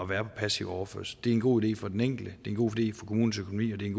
være på passiv overførsel det en god idé for den enkelte det er en god idé for kommunens økonomi og det er